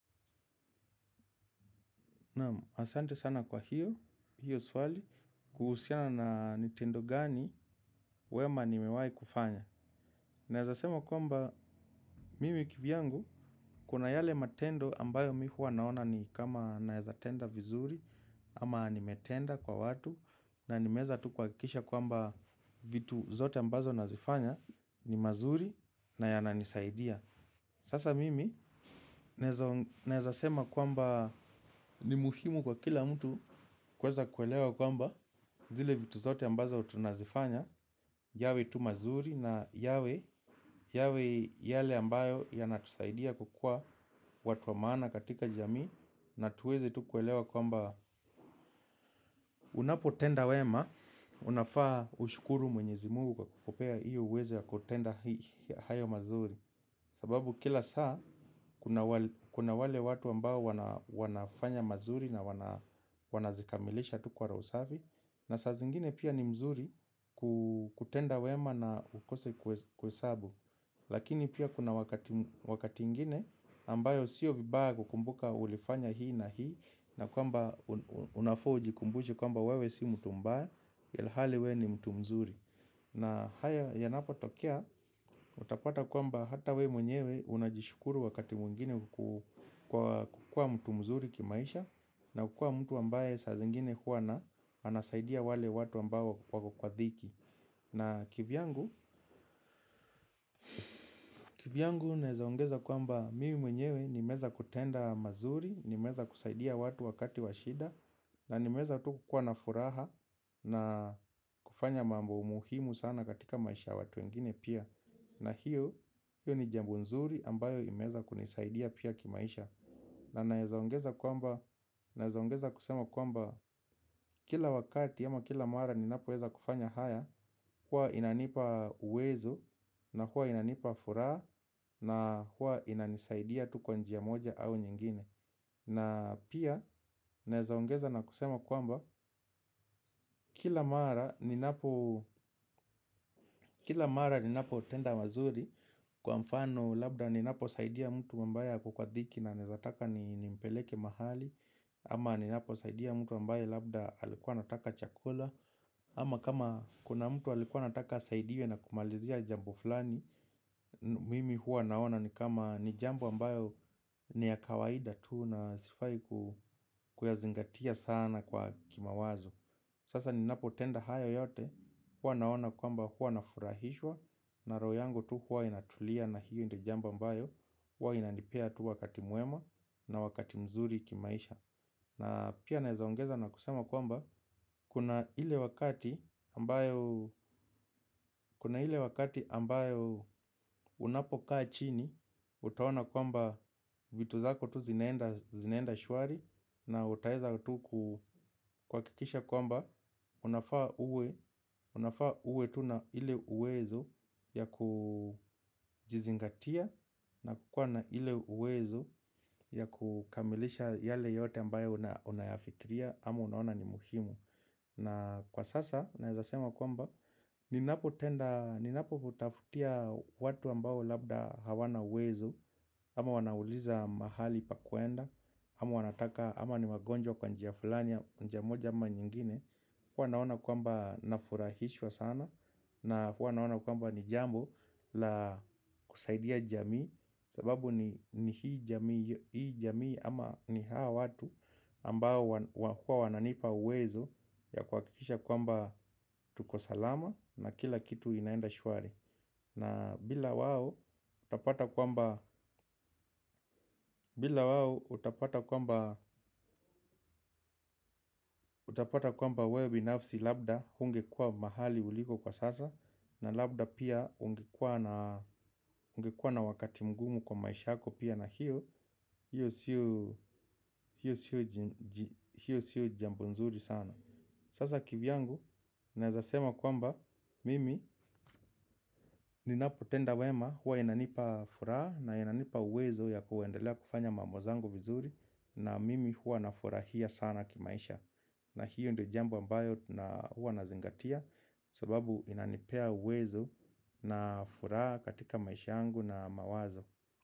Naam, asante sana kwa hiyo, hiyo swali, kuhusiana na ni tendo gani, wema nimewai kufanya. Naeza sema kwamba, mimi kivyangu, kuna yale matendo ambayo mimi huwa naona ni kama naeza tenda vizuri, ama nimetenda kwa watu, na nimeeza tu kuhakikisha kwamba vitu zote ambazo nazifanya ni mazuri na yananisaidia. Sasa mimi naeza sema kwamba ni muhimu kwa kila mtu kuweza kuelewa kwamba zile vitu zote ambazo tunazifanya. Yawe tu mazuri na yawe yawe yale ambayo yanatusaidia kukua watu wa maana katika jamii. Na tuweze tu kuelewa kwamba unapotenda wema unafaa ushukuru mwenyezi mungu kukupea hiyo uwezo ya kutenda hayo mazuri. Sababu kila saa kuna wale watu ambao wanafanya mazuri na wanazikamilisha tu kwa rohi safi. Na saa zingine pia ni mzuri kutenda wema na ukose kwa sabu. Lakini pia kuna wakati ingine ambayo siyo vibaya kukumbuka ulifanya hii na hii. Na kwamba unafaa ujikumbushe kwamba wewe si mtu mbaya ilhali we ni mtu mzuri na haya yanapotokea utapata kwamba hata wewe mwenyewe unajishukuru wakati mwengine kukua mtu mzuri kimaisha na ukua mtu ambaye saa zingine huwa na anasaidia wale watu ambao wako kwa dhiki na kivyangu, kivyangu naeza ongeza kwamba mimi mwenyewe nimeeza kutenda mazuri, nimeeza kusaidia watu wakati wa shida na nimeeza tu kukua na furaha na kufanya mambo muhimu sana katika maisha ya watu wengine pia. Na hiyo, hiyo ni jambo nzuri ambayo imeeza kunisaidia pia kimaisha. Na naeza ongeza kwamba, naeza ongeza kusema kwamba kila wakati ama kila mara ninapoweza kufanya haya huwa inanipa uwezo na huwa inanipa furaha na huwa inanisaidia tu kwa njia moja au nyingine. Na pia, naeza ongeza na kusema kwamba kila mara ninapotenda wazuri kwa mfano labda ninapo lsaidia mtu ambaye ako kwa dhiki na naeza taka nimpeleke mahali. Ama ninaposaidia mtu ambaye labda alikuwa anataka chakula. Ama kama kuna mtu alikuwa anataka asaidiwe na kumalizia jambo fulani. Mimi huwa naona ni kama ni jambo ambayo ni ya kawaida tuu na sifai kuyazingatia sana kwa kimawazo. Sasa ni napotenda haya yote huwa naona kwamba huwa nafurahishwa. Na roho yangu tu huwa inatulia na hiyo ndio jambo ambayo huwa inanipea tu wakati mwema na wakati mzuri kimaisha. Na pia naeza ongeza na kusema kwamba kuna ile wakati ambayo unapokaa chini utaona kwamba vitu zako tu zinaenda shwari. Na utaeza tu kuhakikisha kwamba unafaa uwe, unafaa uwe tu na ile uwezo ya kujizingatia. Na kukuwa na ile uwezo ya kukamilisha yale yote ambayo unayafikiria. Ama unaona ni muhimu. Na kwa sasa, naeza sema kwamba ninapoutafutia watu ambao labda hawana uwezo. Ama wanauliza mahali pa kuenda. Ama ni wagonjwa kwa njia fulani, njia moja ama nyingine. Huwa naona kwamba nafurahishwa sana na huwa naona kwamba ni jambo la kusaidia jamii. Sababu ni hii jamii ama ni hawa watu ambao huwa wananipa uwezo ya kuhakikisha kwamba tuko salama na kila kitu inaenda shwari. Na bila wao utapata kwamba utapata kwamba wewe binafsi labda hungekuwa mahali uliko kwa sasa. Na labda pia ungekuwa na wakati mgumu kwa maisha yako pia na hiyo hiyo siyo jambo nzuri sana. Sasa kivyangu naeza sema kwamba mimi ninapotenda wema huwa inanipa furaha na inanipa uwezo ya kuendelea kufanya mambo zangu vizuri. Na mimi huwa nafurahia sana kimaisha. Na hiyo ndo jambo ambayo huwa nazingatia. Sababu inanipea uwezo na furaha katika maisha yangu na mawazo.